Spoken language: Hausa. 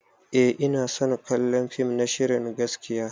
Eh ina son kallon fim na shirin gaskiya.